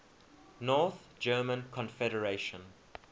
north german confederation